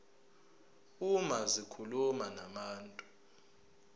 uma zikhuluma nabantu